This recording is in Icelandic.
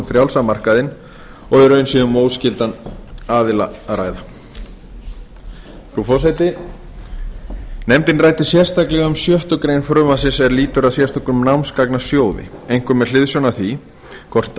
frjálsa markaðinn og í raun sé um óskylda aðila að ræða frú forseti nefndin ræddi sérstaklega um sjöttu greinar frumvarpsins er lýtur að sérstökum námsgagnasjóði einkum með hliðsjón af því hvort